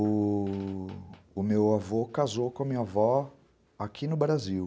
U... u meu avô casou com a minha avó aqui no Brasil.